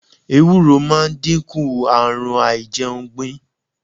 Ewúro máa dínkù àrùn a ìjẹun gbìn.